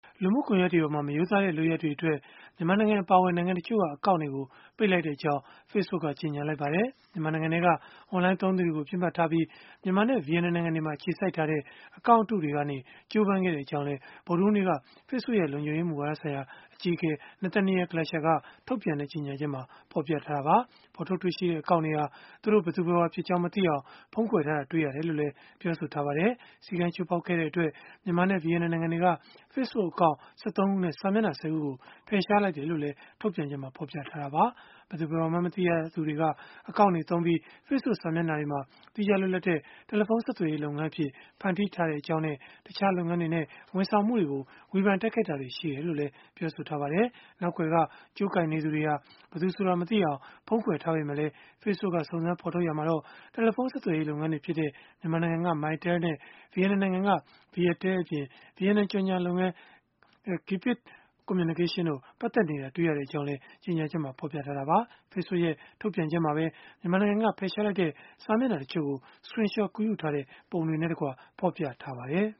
လူမှုကွန်ရက်တွေမှာ မရိုးသားတဲ့ လုပ်ရပ်တွေအတွက် မြန်မာနိုင်ငံ အပါအဝင် နိုင်ငံတချို့က အကောင့်တွေကို ပိတ်လိုက်ကြောင်း Facebook က ကြေညာလိုက်ပါတယ်။ မြန်မာနိုင်ငံတွင်းက အွန်လိုင်းသုံးသူတွေကို ပစ်မှတ်ထားပြီး မြန်မာနဲ့ ဗီယက်နမ်နိုင်ငံတို့မှာ အခြေစိုက်ထားတဲ့ အကောင့်အတုတွေကနေ ကြိုးပမ်းခဲ့ကြောင်းလည်း ဗုဒ္ဓဟူးနေ့က Facebook ရဲ့ လုံခြုံရေးမူဝါဒဆိုင်ရာ အကြီးအကဲ Nathaniel Gleicher က ထုတ်ပြန်တဲ့ ကြေညချက်မှာ ဖော်ပြထားတာပါ။ ဖော်ထုတ်တွေ့ရှိတဲ့ အကောင့်တွေဟာ သူတို့ဘယ်သူဘယ်ဝါဖြစ်ကြောင်း မသိအောင် ဖုံးကွယ်လှည့်စားထားတာ တွေ့ရတယ်လို့လည်း ဆိုပါတယ်။ စည်းကမ်းချိုးဖောက်ခဲ့တဲ့ အတွက် မြန်မာနဲ့ ဗီယက်နမ်နိုင်ငံတွေက Facebook account ၁၃ ခုနဲ့ စာမျက်နှာ ၁၀ ခုကို ဖယ်ရှားလိုက်တယ်လို့လည်း ထုတ်ပြန်ချက်မှာ ဖော်ပြခဲ့တာပါ။ ဘယ်သူဘယ်ဝါမှန်း မသိရသူတွေက အကောင့်အတုတွေသုံးပြီး Facebook စာမျက်နှာတွေမှာ သီးခြားလွတ်လပ်တဲ့ တယ်လီဖုန်းဆက်သွယ်ရေး လုပ်ငန်းအဖြစ် ဖန်တီးထားခဲ့ကြောင်းနဲ့ တခြားလုပ်ငန်းတွေနဲ့ ဝန်ဆောင်မှုတွေကို ဝေဖန်တိုက်ခိုက်တာမျိုးတွေ ရှိခဲ့တယ်လို့လည်း ဆိုပါတယ်။ နောက်ကွယ်က ကြိုးကိုင်နေသူတွေဟာ ဘယ်သူဆိုတာ မသိအောင် ဖုံးကွယ်ထားပေမဲ့လည်း Facebook က စုံစမ်းဖော်ထုတ်ရာမှာ တယ်လီဖုန်း ဆက်သွယ်ရေး လုပ်ငန်းတွေဖြစ်တဲ့ မြန်မာနိုင်ငံက Mytel နဲ့ ဗီယက်နမ်နိုင်ငံက Viettel အပြင်၊ ဗီယက်နမ် ကြော်ငြာလုပ်ငန်း Gapit Communications တို့ ပတ်သက်နေတာ တွေ့ရကြောင်းလည်း ကြေညာချက်မှာ ဖော်ပြထားတာပါ။ Facebook ရဲ့ ထုတ်ပြန်ချက်မှာပဲ မြန်မာနိုင်ငံက ဖယ်ရှားလိုက်တဲ့ စာမျက်နှာတချို့ကို Screen shot ကူးယူထားတဲ့ ပုံတွေနဲ့တကွ ဖော်ပြထားပါတယ်